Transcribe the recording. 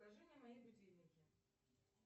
покажи мне мои будильники